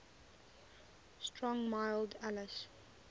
strong mild ales